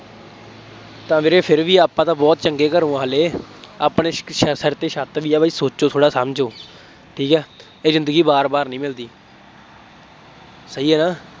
ਤਾਂ ਵੀਰੇ ਫੇਰ ਵੀ ਆਪਾਂ ਤਾਂ ਬਹੁਤ ਚੰਗੇ ਘਰੋਂ ਹਾਂ ਹਾਲੇ, ਆਪਣੇ ਸਿਰ ਤੇ ਛੱਤ ਵੀ ਆ ਬਾਈ, ਸੋਚੋ ਥੋੜ੍ਹਾ ਸਮਝੋ, ਠੀਕ ਹੈ, ਇਹ ਜ਼ਿੰਦਗੀ ਵਾਰ ਵਾਰ ਨਹੀਂ ਮਿਲਦੀ, ਸਹੀ ਹੈ ਨਾ,